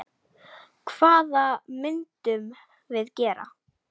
Hvað myndum við gera?